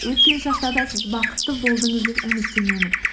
өткен шақта да сіз бақытты болдыңыз деп үміттенемін